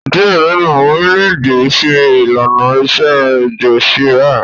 Diẹ nínú awọn orilẹ-ède n ṣe ìlànà ilé-ẹjọ Sharia